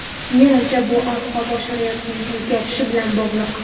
Menimcha bu ob-havo sharoitining o‘zgarishi bilan bog‘liq.